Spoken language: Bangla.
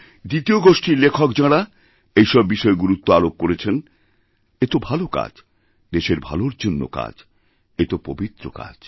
দ্বিতীয় গোষ্ঠীর লেখক যাঁরা এইসব বিষয়ে গুরুত্ব আরোপ করেছেন এতো ভাল কাজ দেশের ভালোর জন্য কাজ এতো পবিত্রকাজ